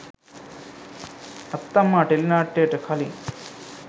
අත්තම්මා ටෙලිනාට්‍යයට කලින්